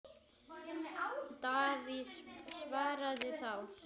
Davíð svaraði þá